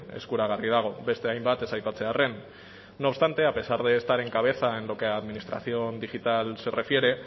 eskuragarri dago beste hainbat ez aipatzearren no obstante a pesar de estar en cabeza en lo que a administración digital se refiere